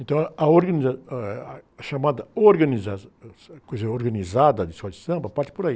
Então, a, a organiza, eh, ah, a chamada organização, a coisa organizada de Samba, parte por aí.